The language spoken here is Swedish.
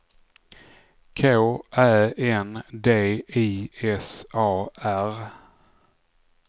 K Ä N D I S A R